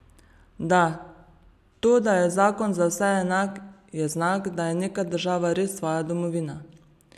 Da, to, da je zakon za vse enak, je znak, da je neka država res tvoja domovina.